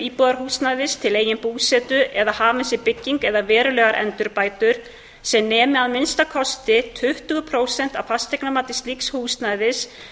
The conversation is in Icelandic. íbúðarhúsnæðis til eigin búsetu eða að hafin sé bygging eða verulegar endurbætur sem nemi að minnsta kosti tuttugu prósent af fasteignamati slíks húsnæðis